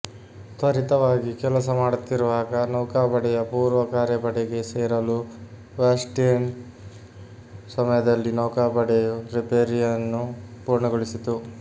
ತ್ವರಿತವಾಗಿ ಕೆಲಸ ಮಾಡುತ್ತಿರುವಾಗ ನೌಕಾಪಡೆಯ ಪೂರ್ವ ಕಾರ್ಯಪಡೆಗೆ ಸೇರಲು ವಾರ್ಸ್ಟೀನ್ ಸಮಯದಲ್ಲಿ ನೌಕಾಪಡೆಯು ರಿಪೇರಿಯನ್ನು ಪೂರ್ಣಗೊಳಿಸಿತು